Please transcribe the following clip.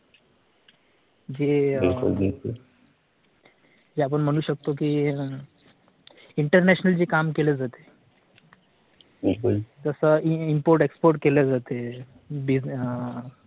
जे ही जे आपण म्हणू शकतो की INTERNATIONAL जे काम केलं जात जस IMPORT EXPORT केले जाते